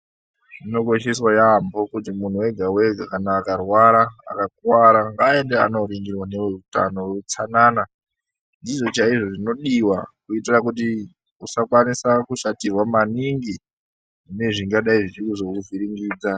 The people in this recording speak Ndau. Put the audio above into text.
Zvikosheswa yaamho kuti munhu wega wega kana akarwara kana kuti akakuwara aende andoringirwa neveutano veutsanana. Ndizvo chaizvo zvinodiwa kuitira kuti usakwanisa kushatirwa maningi ngezvingadai zvichizokuvhiringidza.